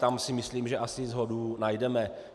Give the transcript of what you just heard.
Tam si myslím, že asi shodu najdeme.